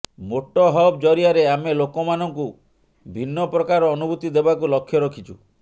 motto Hub ଜରିଆରେ ଆମେ ଲୋକମାନଙ୍କୁ ଭିନ୍ନ ପ୍ରକାର ଅନୁଭୂତି ଦେବାକୁ ଲକ୍ଷ୍ୟ ରଖିଛୁ